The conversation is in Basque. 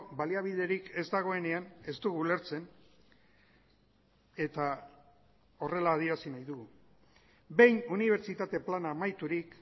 baliabiderik ez dagoenean ez dugu ulertzen eta horrela adierazi nahi dugu behin unibertsitate plana amaiturik